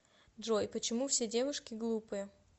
джой почему все девушки глупые